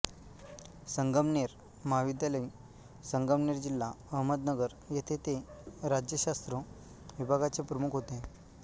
संगमनेर महाविद्यालय संगमनेर जिल्हा अहमदनगर येथे ते राज्यशास्त्र विभागाचे प्रमुख होते